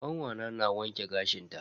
Kanwata na wanke gashin ta.